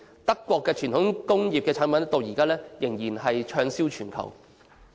德國的傳統輕工業產品至今仍然是暢銷全球。